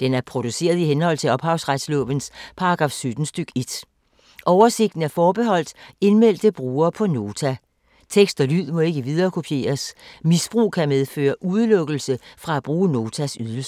Den er produceret i henhold til ophavsretslovens paragraf 17 stk. 1. Oversigten er forbeholdt indmeldte brugere på Nota. Tekst og lyd må ikke viderekopieres. Misbrug kan medføre udelukkelse fra at bruge Notas ydelser.